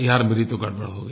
यार मेरी तो गड़बड़ हो गयी